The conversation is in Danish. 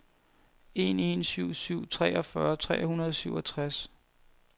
en en syv syv treogfyrre tre hundrede og syvogtres